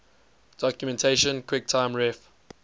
documentation quicktime ref